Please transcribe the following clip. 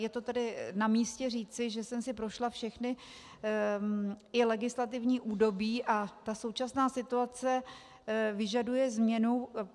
Je to tedy na místě říci, že jsem si prošla všechna, i legislativní, údobí a ta současná situace vyžaduje změnu.